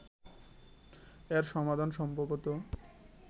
এর সমাধান সম্ভবত